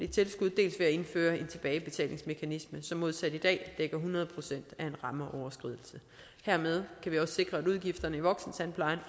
tilskud dels ved at indføre en tilbagebetalingsmekanisme som modsat i dag dækker hundrede procent af en rammeoverskridelse hermed kan vi også sikre at udgifterne i voksentandplejen